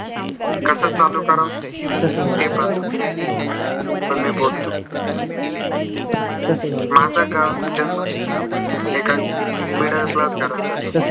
कसं चालू कराव ते पण समजत नाही - पण मी बोलतो. माझा गावातील जन्म middle class family त झाला